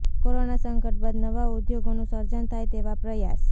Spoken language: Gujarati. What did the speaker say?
કોરોના સંકટ બાદ નવા ઉદ્યોગોનું સર્જન થાય તેવા પ્રયાસ